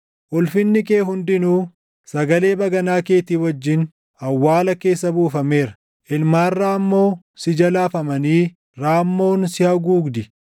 Ulfinni kee hundinuu, sagalee baganaa keetii wajjin awwaala keessa buufameera; ilmaan raammoo si jala afamanii raammoon si haguugdi.